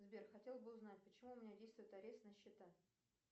сбер хотела бы узнать почему у меня действует арест на счета